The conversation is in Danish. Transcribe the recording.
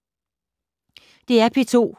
DR P2